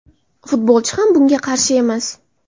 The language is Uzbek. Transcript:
Futbolchi ham bunga qarshi emas;.